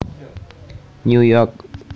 New York